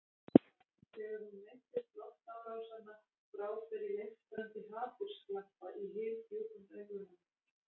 Þegar hún minntist loftárásanna brá fyrir leiftrandi hatursglampa í hyldjúpum augunum.